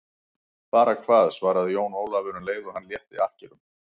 Bara hvað, svaraði Jón Ólafur um leið og hann létti akkerunum.